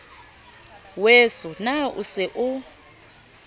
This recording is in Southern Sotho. weso na o se o